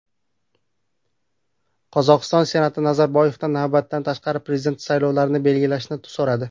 Qozog‘iston Senati Nazarboyevdan navbatdan tashqari prezident saylovlarini belgilashni so‘radi.